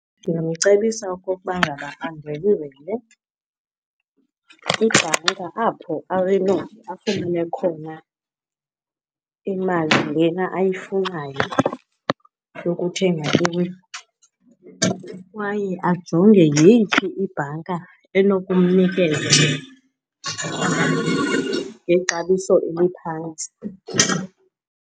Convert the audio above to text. Ndingamcebisa okokuba ngaba andwendwele ibhanka apho afumane khona imali lena ayifunayo yokuthenga indlu kwaye ajonge yeyiphi ibhanka enokumnikeza ngexabiso eliphantsi.